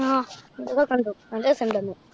ആഹ് അതൊക്കെ കണ്ടു. നല്ല രസന്‍ണ്ടാര്‍ന്നു.